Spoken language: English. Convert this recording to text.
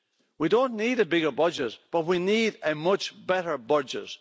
We don't need a bigger budget, but we need a much better budget.